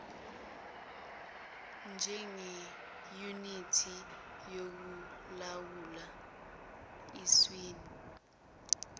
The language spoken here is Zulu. njengeyunithi yokulawula eswini